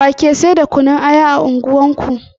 Wa ke sai da kunun aya a unguwar ku